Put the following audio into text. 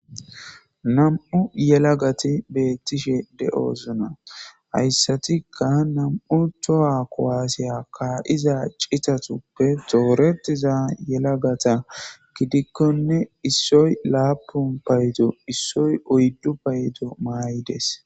Nam7u yelagati beettishe de7oosona hayssatikka nam7u toha kowaasiya ka7iza citatuppe tooretiza yelagata gidikkonne issoy laapun paydo issoy oyddu paydo maay7ides.